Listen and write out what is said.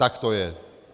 Tak to je.